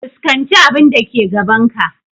Fuskanci abun da ke gaban ka!